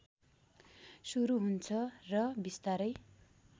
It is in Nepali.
सुरु हुन्छ र बिस्तारै